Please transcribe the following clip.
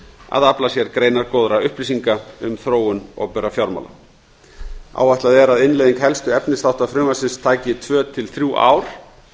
að afla sér greinargóðra upplýsinga um þróun opinberra fjármála áætlað er að innleiðing helstu efnisþátta frumvarpsins taki tvö til þrjú ár